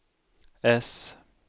äss